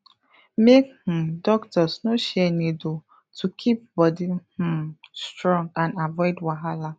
make um doctors no share needle to keep body um strong and avoid wahala